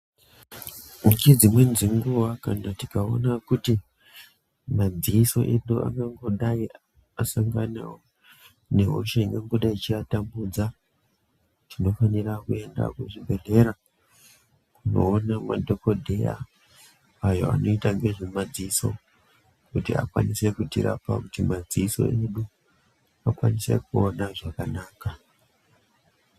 Ngedzimweni dzenguwa kana tikaona kuti madziso edu ngangodayi asangana nehosha ingangodayi ichiatambudza, tinofanira kuenda kuzvibhedhlera kunoona madhokodheya ayo anoita ngezvemadziso kuti akwanise kutirapa kuti madziso edu akwanise kuona zvakanaka.